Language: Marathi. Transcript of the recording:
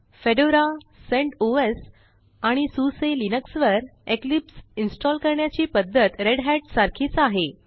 फेडोरा सेंटोस आणि सुसे लिनक्स वर इक्लिप्स इन्स्टॉल करण्याची पध्दत रेढत सारखीच आहे